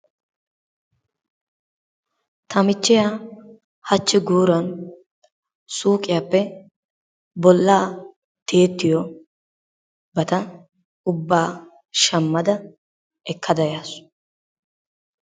Ta michchiya hachchi guuran suuqqiyappe bollaa tiyettiyobata ubbaa shammada ekkada yaasu.